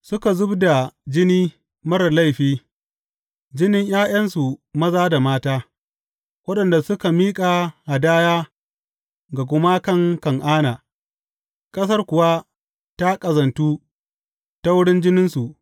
Suka zub da jini marar laifi, jinin ’ya’yansu maza da mata, waɗanda suka miƙa hadaya ga gumakan Kan’ana, ƙasar kuwa ta ƙazantu ta wurin jininsu.